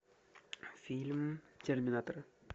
фильм терминатор